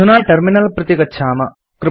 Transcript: अधुना टर्मिनल प्रति गच्छाम